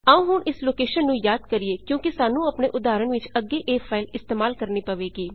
ਆਉ ਹੁਣ ਇਸ ਲੋਕੇਸ਼ਨ ਨੂੰ ਯਾਦ ਕਰੀਏ ਕਿਓਂਕੀ ਸਾਨੂੰ ਆਪਣੇ ਉਦਾਹਰਣ ਵਿੱਚ ਅੱਗੇ ਇਹ ਫਾਈਲ ਇਸਤੇਮਾਲ ਕਰਣੀ ਪਵੇਗੀ